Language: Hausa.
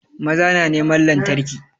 Maza na neman lantarki